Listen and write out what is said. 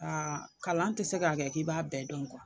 kalan tɛ se k'a kɛ k'i b'a bɛɛ don